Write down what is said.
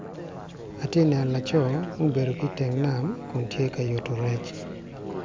Ati neno laco mubedo ki iteng nam, kun tye ka yuto rec.